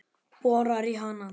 Borar í hana.